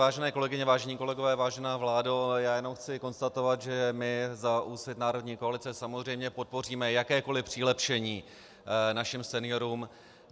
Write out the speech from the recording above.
Vážené kolegyně, vážení kolegové, vážená vládo, já jenom chci konstatovat, že my za Úsvit národní koalice samozřejmě podpoříme jakékoli přilepšení našim seniorům.